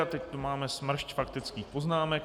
A teď tu máme smršť faktických poznámek.